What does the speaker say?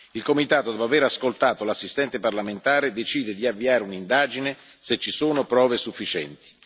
Il comitato, dopo aver ascoltato l'assistente parlamentare, decide di avviare un'indagine se ci sono prove sufficienti.